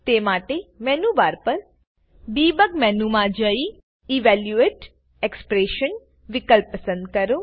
તે માટે menu bar પર ડેબગ મેનુ માં જઈ ઇવેલ્યુએટ એક્સપ્રેશન વિકલ્પ પસંદ કરો